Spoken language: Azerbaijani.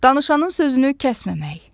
Danışanın sözünü kəsməmək.